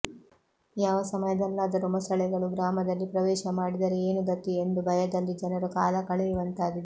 ಯಾವ ಸಮಯದಲ್ಲಾದರು ಮೊಸಳೆಗಳು ಗ್ರಾಮದಲ್ಲಿ ಪ್ರವೇಶ ಮಾಡಿದರೆ ಏನು ಗತಿ ಎಂದು ಭಯದಲ್ಲಿ ಜನರು ಕಾಲ ಕಳೆಯುವಂತಾಗಿದೆ